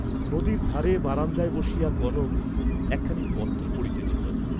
নদীর ধারে বারান্দায় বসিয়া কনক একখানি পত্র পড়িতেছিল।